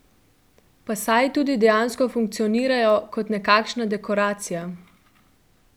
Pa saj tudi dejansko funkcionirajo kot nekakšna dekoracija!